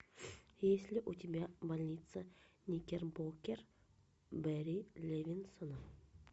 есть ли у тебя больница никербокер барри левинсона